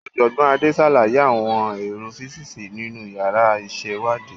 Ọ̀jọ̀gbọ́n Ade ṣàlàyé àwọn èrò físíìsì nínú yàrá ìṣèwádìí.